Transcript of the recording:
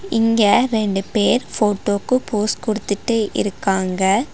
இங்க ரெண்டு பேர் ஃபோட்டோ க்கு போஸ் குடுத்துட்டு இருக்காங்க.